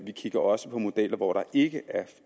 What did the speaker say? vi kigger også på modeller hvor der ikke er